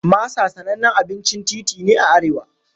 Masa sanannen abincin titi ne a arewa.